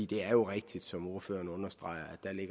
det er jo rigtigt som ordføreren understreger